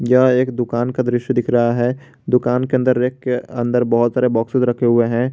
यह एक दुकान का दृश्य दिख रहा है दुकान के अंदर रैक के अंदर बहुत सारे बॉक्सिज़ रखे हुए हैं।